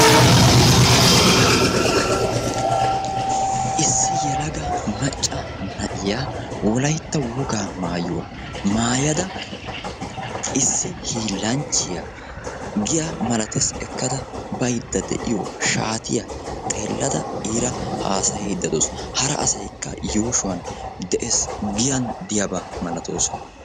issi yelaga macca na"iya issi hillanchiyaa giyani bayziyoo shaatiya xelayda o haassayisayda beettawusu.